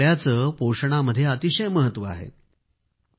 या सर्वांचे पोषणामध्ये अतिशय महत्व आहे